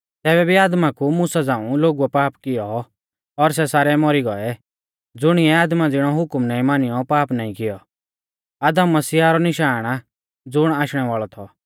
तैबै भी आदमा कु मुसा झ़ांऊ लोगुऐ पाप कियौ और सै सारै मौरी गौऐ ज़ुणिऐ आदमा ज़िणौ हुकम नाईं मानियौ पाप नाईं कियौ आदम मसीह रौ निशाण आ ज़ुण आशणै वाल़ौ थौ